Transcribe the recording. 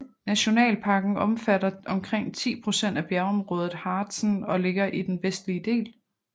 Nationalparken omfatter omkring 10 procent af bjergområdet Harzen og ligger i den vestlige del